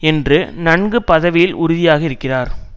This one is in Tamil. என்று நன்கு பதவியில் உறுதியாக இருக்கிறார்